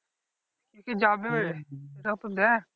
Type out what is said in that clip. কে কে যাবে সেটাও তো দেখ